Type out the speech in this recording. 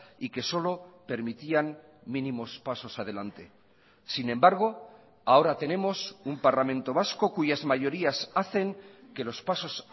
y que solo permitían mínimos pasos adelante sin embargo ahora tenemos un parlamento vasco cuyas mayorías hacen que los pasos